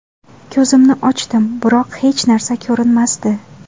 Ko‘zimni ochdim, biroq hech narsa ko‘rinmasdi.